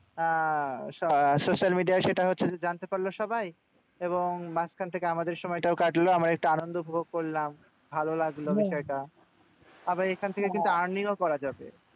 আহ social media য় সেটা হচ্ছে যে, জানতে পারলো সবাই। এবং মাঝখান থেকে আমাদের সময়টাও কাটলো। আমরা একটু আনন্দ উপভোগ করলাম। ভালো লাগলো বিষয়টা। আবার এখন থেকে কিন্তু earning ও করা যাবে।